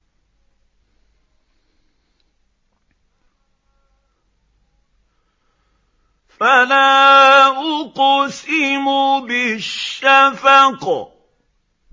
فَلَا أُقْسِمُ بِالشَّفَقِ